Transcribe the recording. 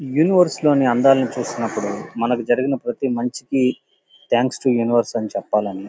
యూనివెర్ లోని అందాలను చూసినపుడు మనకి జరిగిన ప్రతి మంచికి థాంక్స్ తో యూనివర్స్ అని చెప్పలని--